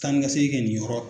Taanikasegin kɛ nin yɔrɔ